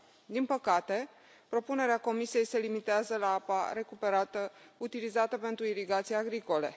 Din păcate, propunerea Comisiei se limitează la apa recuperată, utilizată pentru irigații agricole.